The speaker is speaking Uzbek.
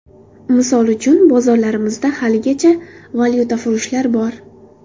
Misol uchun, bozorlarimizda haligacha valyutafurushlar bor.